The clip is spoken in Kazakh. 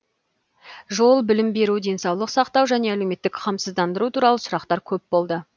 жол білім беру денсаулық сақтау және әлеуметтік қамсыздандыру туралы сұрақтар көп болды